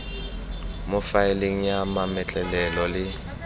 mo faeleng ya mametlelelo le